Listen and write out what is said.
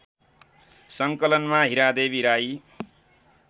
सङ्कलनमा Hiradevi Rai